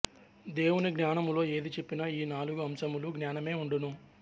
దేవుని జ్ఞానములో ఏది చెప్పినా ఈ నాలుగు అంశముల జ్ఞానమే ఉండును